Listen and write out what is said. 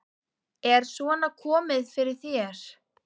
Er svona komið fyrir þér?